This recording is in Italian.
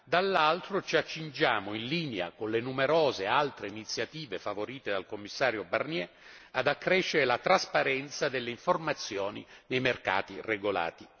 dall'altro, ci accingiamo, in linea con le numerose altre iniziative favorite dal Commissario Barnier, ad accrescere la trasparenza delle informazioni dei mercati regolati.